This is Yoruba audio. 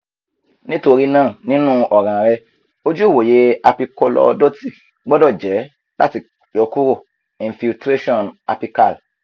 nitorina ninu ọran rẹ oju iwoye apicolordotic gbọdọ jẹ lati yọkuro infiltration apical